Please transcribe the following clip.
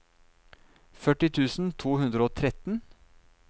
førti tusen to hundre og tretten